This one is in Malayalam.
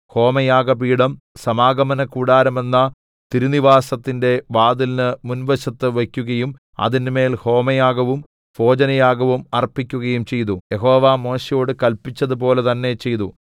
ഹോമയാഗപീഠം സമാഗമനകൂടാരമെന്ന തിരുനിവാസത്തിന്റെ വാതിലിന് മുൻവശത്ത് വയ്ക്കുകയും അതിന്മേൽ ഹോമയാഗവും ഭോജനയാഗവും അർപ്പിക്കുകയും ചെയ്തു യഹോവ മോശെയോട് കല്പിച്ചതുപോലെ തന്നെ ചെയ്തു